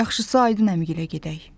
Yaxşısı Aydın əmigilə gedək.